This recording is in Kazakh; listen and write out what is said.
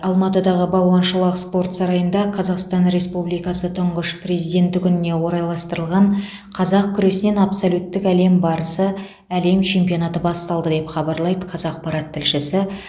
алматыдағы балуан шолақ спорт сарайында қазақстан республикасы тұңғыш президенті күніне орайластырылған қазақ күресінен абсолюттік әлем барысы әлем чемпионаты басталды деп хабарлайды қазақпарат тілшісі